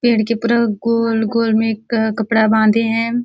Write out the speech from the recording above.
पेड़ के पूरा गोल-गोल में एक क कपड़ा बांधे है।